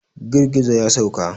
Girgizo ya sauka.